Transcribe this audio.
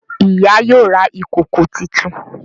Ìyá yóò rà ìkọkọ títún.